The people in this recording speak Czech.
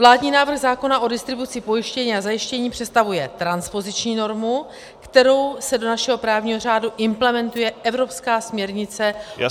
Vládní návrh zákona o distribuci pojištění a zajištění představuje transpoziční normu, kterou se do našeho právního řádu implementuje evropská směrnice -